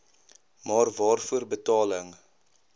maar waarvoor betaling